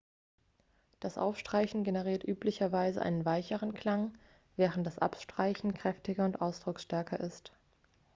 das aufstreichen generiert üblicherweise einen weicheren klang während das abstreichen kräftiger und ausdrucksstärker ist